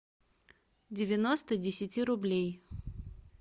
девяносто десяти рублей